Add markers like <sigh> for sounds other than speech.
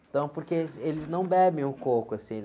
Então, porque, <unintelligible> eles não bebem o coco, assim.